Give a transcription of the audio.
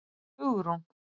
Hugrún